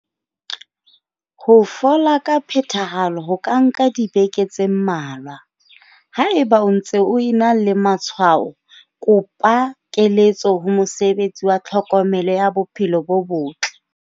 Ho fola ka phethahalo ho ka nka dibeke tse mmalwa. Haeba o ntse o ena le matshwao, kopa keletso ho mosebetsi wa tlhokomelo ya bophelo bo botle.